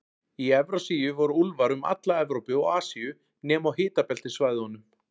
Í Evrasíu voru úlfar um alla Evrópu og Asíu, nema á hitabeltissvæðunum.